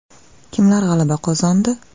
Kimlar g‘alaba qozondi?